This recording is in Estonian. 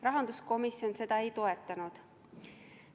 Rahanduskomisjon seda ei toetanud.